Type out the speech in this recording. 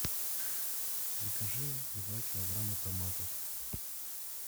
закажи два килограмма томатов